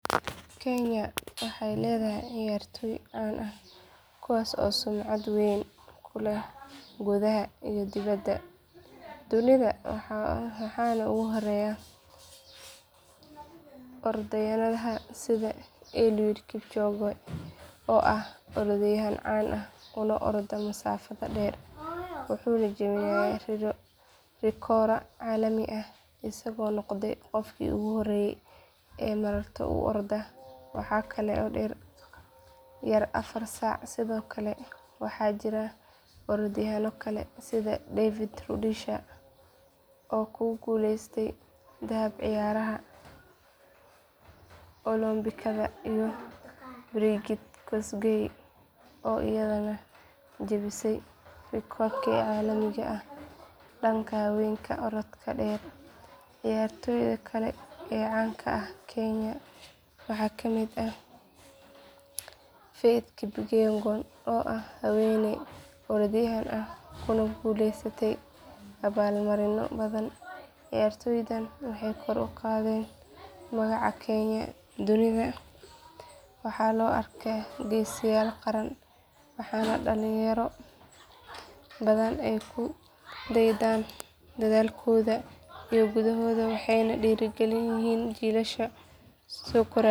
Kenya waxay leedahay ciyaartoy caan ah kuwaas oo sumcad weyn ku leh gudaha iyo dibadda dunida waxaana ugu horreeya orodyahanada sida eliud kipchoge oo ah orodyahan caan ah una orda masaafada dheer wuxuuna jebiyey rikooro caalami ah isagoo noqday qofkii ugu horreeyay ee maraton ku orda wax ka yar afar saac sidoo kale waxaa jira orodyahanno kale sida david rudisha oo ku guuleystay dahab ciyaaraha olombikada iyo brigid kosgei oo iyaduna jabisay rikooro caalami ah dhanka haweenka orodka dheer ciyaartoyda kale ee caan ka ah kenya waxaa ka mid ah faith kipyegon oo ah haweeney orodyahanad ah kuna guuleysatay abaalmarinno badan ciyaartoydan waxay kor u qaadeen magaca kenya dunida waxaana loo arkaa geesiyaal qaran waxaana dhalinyaro badan ay ku daydaan dadaalkooda iyo guulahooda waxayna dhiirigelin u yihiin jiilasha soo koraya.